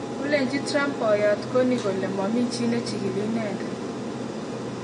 kalechi Trump poyoot Corney kole mami chi nechigili inendet